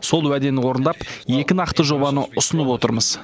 сол уәдені орындап екі нақты жобаны ұсынып отырмыз